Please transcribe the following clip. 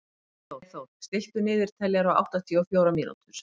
Freyþór, stilltu niðurteljara á áttatíu og fjórar mínútur.